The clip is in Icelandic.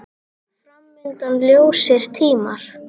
Fram undan ljósir tímar.